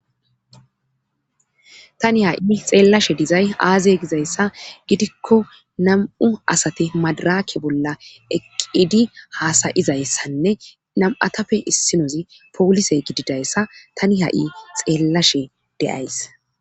Tani ha7i xeellashe dizay aaze gizayssa gidikko nam7u asate madaraakke bolla eqqidi haasayizayssanne nam7atafe issinozi poolise gididayssa tani ha7i xeellashe deyays.